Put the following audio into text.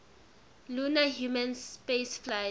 lunar human spaceflights